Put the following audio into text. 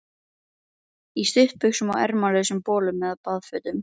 Í stuttbuxum og ermalausum bolum eða baðfötum.